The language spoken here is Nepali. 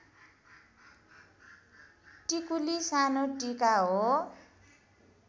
टिकुली सानो टीका हो